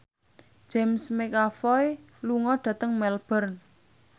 James McAvoy lunga dhateng Melbourne